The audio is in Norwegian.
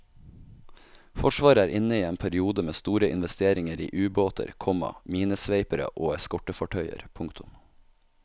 Forsvaret er inne i en periode med store investeringer i ubåter, komma minesveipere og eskortefartøyer. punktum